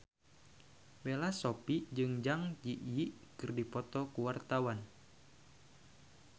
Bella Shofie jeung Zang Zi Yi keur dipoto ku wartawan